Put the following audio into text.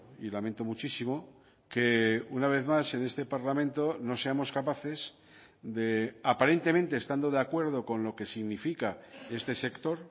y lamento muchísimo que una vez más en este parlamento no seamos capaces de aparentemente estando de acuerdo con lo que significa este sector